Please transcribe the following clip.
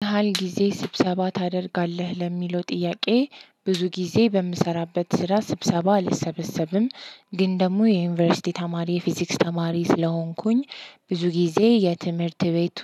ምን ያህል ጊዜ ስብሰባ ታደርጋለህ ለሚለው ጥያቄ? ብዙ ጊዜ በምሰራበት ስራ ስብሰባ አልሰበሰብም ግን ደግሞ የዩኒቨርሲቲ ተማሪ የፊዚክስ ተማሪ ስለሆንኩኝ ብዙ ጊዜ የትምህርት ቤቱ